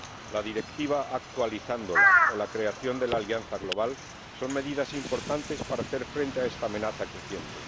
La Directiva —actualizándola— o la creación de la alianza global son medidas importantes para hacer frente a esta amenaza creciente.